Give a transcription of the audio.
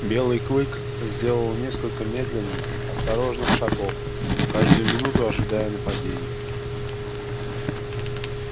белый клык сделал несколько медленных осторожных шагов каждую минуту ожидая нападения